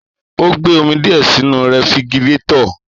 Ò gbe òmí diẹ sìnú rẹfìgírẹtọ.